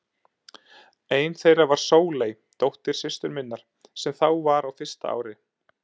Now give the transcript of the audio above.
Ein þeirra var Sóley, dóttir systur minnar, sem þá var á fyrsta ári.